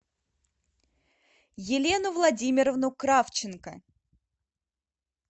елену владимировну кравченко